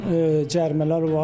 Bunun cərimələr var.